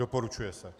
Doporučuje se.